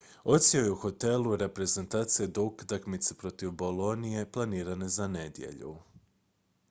odsjeo je u hotelu reprezentacije do utakmice protiv bolonije planirane za nedjelju